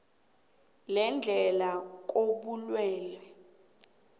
lendlela yokurhatjheka kobulwelwe